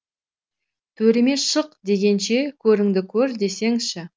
төріме шық дегенше көріңді көр десеңші